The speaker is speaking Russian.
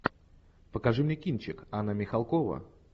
покажи мне кинчик анна михалкова